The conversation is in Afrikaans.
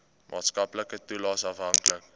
maatskaplike toelaes afhanklik